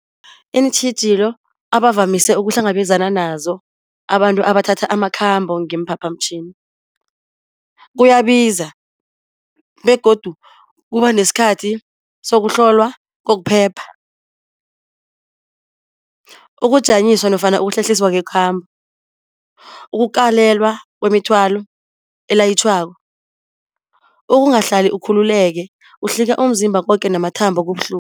Iintjhijilo abavamise ukuhlangabezana nazo abantu abathatha amakhambo ngeemphaphamtjhini. Kuyabiza begodu kuba nesikhathi sokuhlolwa kokuphepha. Ukujanyiswa nofana ukuhlehliswa kwekhambo. Ukukalelwa kwemithwalo elayitjhwako. Ukungahlali ukhululeke, uhlika umzimba koke namathambo